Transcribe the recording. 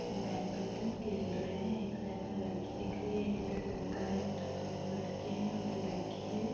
Badminton खेल रहे है एक साइड मे लड़की दिख रही है इधर लड़का है उधर दोनों लड़के है उधर लड़की है।